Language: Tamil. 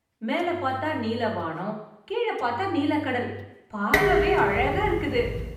மேல பாத்தா நீல வானம் கீழ பாத்தா நீல கடல் பாக்கவே அழகா இருக்குது